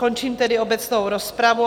Končím tedy obecnou rozpravu.